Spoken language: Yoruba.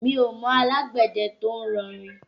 Mi ò mọ alágbẹ̀dẹ tó ń rọ rìn.